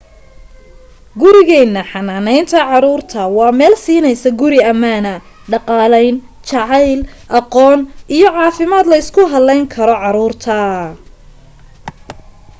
gurigeyna xanaaneynta caruurta waa meel siineysa guri amaana dhaqaaleyn jaceyl aqoon iyo caafimaad leysku haleyn kara caruurta